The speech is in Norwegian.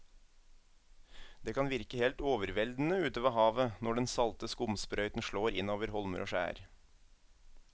Det kan virke helt overveldende ute ved havet når den salte skumsprøyten slår innover holmer og skjær.